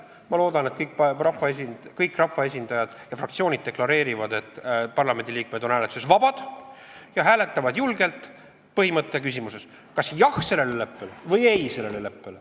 Ma loodan, et kõik rahvaesindajad ja fraktsioonid deklareerivad, et parlamendiliikmed on hääletuses vabad, ja nad hääletavad julgelt põhimõttelises küsimuses, kas öelda sellele leppele jah või ei.